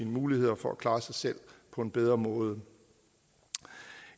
muligheder for at klare sig selv på en bedre måde